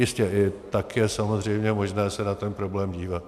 Jistě, i tak je samozřejmě možné se na ten problém dívat.